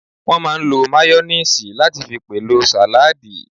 Wọ́n máà ń lo máyóníìsì láti fi pèlò sàládì